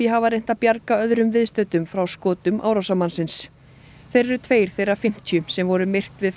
hafa reynt að bjarga öðrum viðstöddum frá skotum árásarmannsins þeir eru tveir þeirra fimmtíu sem voru myrt við